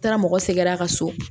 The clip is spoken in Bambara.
N taara mɔgɔ sɛgɛrɛ a ka so